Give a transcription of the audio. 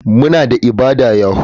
Muna da ibada yahoo.